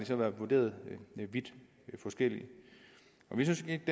så været vurderet vidt forskelligt vi synes ikke